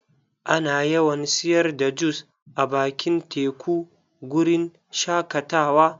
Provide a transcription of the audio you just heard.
Ana yawan siyar da jus a bakin teku guri n shakatawa.